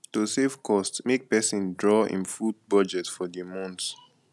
to save cost make persin draw im food budget for di month